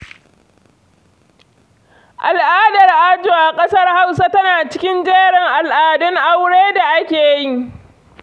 Al'adar ajo a ƙasar Hausa tana cikin jerin al'adun aure da ake yi.